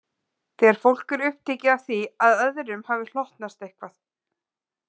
Þegar fólk er upptekið af því að öðrum hafi hlotnast eitthvað.